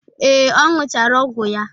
Ee, ọ ṅụchara ọgwụ ya.